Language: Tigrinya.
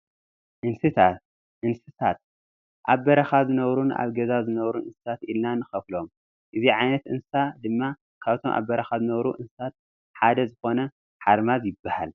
እንስሳታት፡- ኣብ በረኻ ዝነብሩን ኣብ ገዛ ዝነብሩ እንስሳታትን ኢልና ንኸፍሎም፡፡ እዚ ዓይነት እንስሳ ድማ ካብቶም ኣብ በረኻ ዝነብሩ እንስሳታት ሓደ ዝኾነ ሓርማዝ ይባሃል፡፡